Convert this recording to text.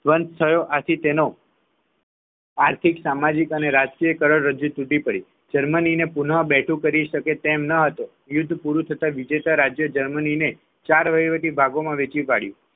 બંધ થયો આથી તેનો આર્થિક સામાજિક અને રાજકીયકરણ રજૂ તૂટી પડી જર્મનીને પૂર્ણ બેઠો કરી શકે તેમ એમ નહોતા યુદ્ધ પૂરું થતા વિજેતા રાજ્યએ જર્મનીને ચાર વહીવટી વિભાગોમાં વહેંચી પાડ્યું